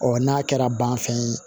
n'a kɛra banfɛn ye